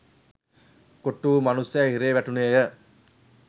කොටුවූ මනුස්‌සයා හිරේ වැටුණේය